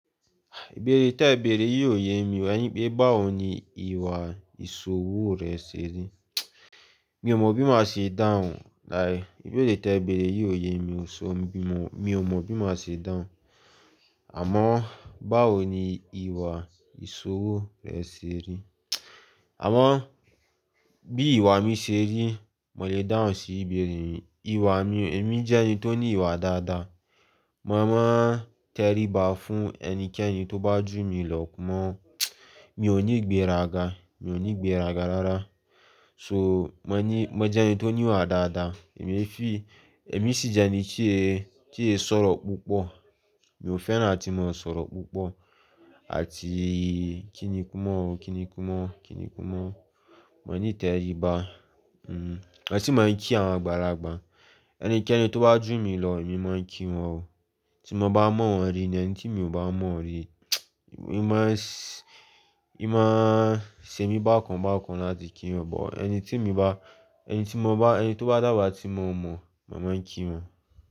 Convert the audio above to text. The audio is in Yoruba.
Ìbéèrè tí ẹ bèrè yíò yé mi o ẹni pé báwo ni ìwà ìṣòwò rẹ ṣe rí? Mi ò mọ̀ bí mo ṣe dáhùn. Láyé, ìbéèrè tí ẹ bèrè yíò yé mi ò ṣò mí mọ̀, mi ò mọ̀ bí mo ṣe dáhùn. Àmọ́ báwo ni ìwà ìṣòwò rẹ ṣe rí? Àmọ́ bí ìwà mi ṣe rí, mo le dáhùn sí ìbéèrè rẹ. Ìwà mi, èmi jẹ́ ẹni tó ní ìwà dáadáa. Mo máa ń tẹríba fún ẹnikẹ́ni tó bá jù mí lọ mọ́. Mi ò ní ìgbéraga, mi ò ní ìgbéraga rárá. So, mo ní, mo jẹ́ ẹni tó ní ìwà dáadáa. Èmi fi, èmi sì jẹ́ ẹni tí ẹ̀, tí ẹ̀ ń sọ̀rọ̀ púpọ̀. Mi ò fẹ́ràn láti máa ń sọ̀rọ̀ púpọ̀ àti kíni kú mọ́, kíni kú mọ́, kíni kú mọ́. Mo ní tẹríba. Hmm, èsì máa ń kí àwọn àgbàlagbà. Ẹnikẹ́ni tó bá jù mí lọ, èmi máa ń kí wọn o. Tí mo bá mọ́ wọn rí nì ẹni tí mi ò bá mọ̀ rí. Èmi máa s- èmi máa ń ṣe mí bákan bákan láti kí wọn. Bọ̀ ẹni tí mo bá, ẹni tí mo bá, ẹni tó bá dàgbà tí mo mọ̀, màá máa ń kí wọn.